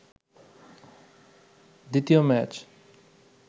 দ্বিতীয় ম্যাচ